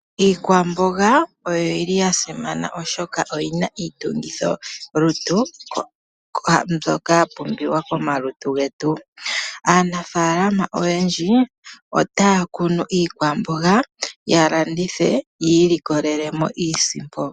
Iikwamboga oyili yasimana oshoka oyina Iitungithilutu mbyoka ya pumbiwa komalutu getu . Aanafaalama oyendji otaya kunu iikwamboga ya landithe yi ilikolelemo iisimpo